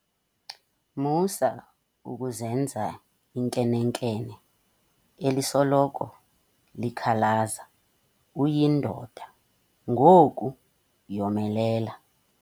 Musa ukuzenza inkenenkene elisoloko likhalaza uyindoda ngoku yomelela.